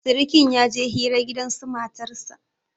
sirikin ya je hira gidansu matarsa